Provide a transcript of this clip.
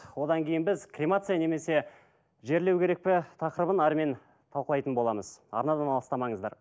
одан кейін біз кремация немесе жерлеу керек пе тақырыбын әрмен талқылайтын боламыз арнадан алыстамаңыздар